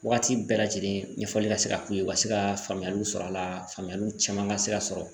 Wagati bɛɛ lajɛlen ɲɛfɔli ka se ka k'u ye u ka se ka faamuyaliw sɔrɔ a la faamuyaliw caman ka se ka sɔrɔ